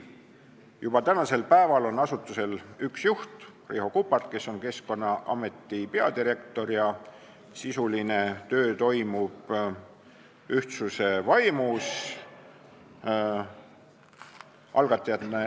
Juba täna on asutusel üks juht, Riho Kuppart, kes on Keskkonnaameti peadirektor, ja sisuline töö toimub ühtsuse vaimus.